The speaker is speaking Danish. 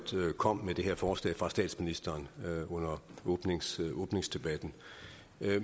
kom med det her forslag fra statsministeren under åbningsdebatten åbningsdebatten